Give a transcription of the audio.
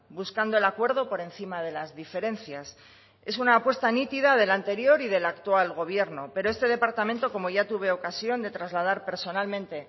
buscando el acuerdo por encima de las diferencias es una apuesta nítida del anterior y del actual gobierno pero este departamento como ya tuve ocasión de trasladar personalmente